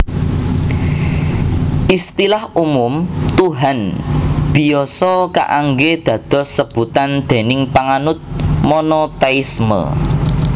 Istilah umum Tuhan biasa kaanggé dados sebutan déning panganut monotéisme